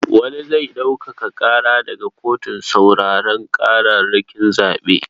Wani zai ɗaukaka ƙara daga kotun sauraron ƙararrakin zaɓe.